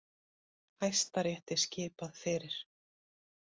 Hæstarétti skipað fyrir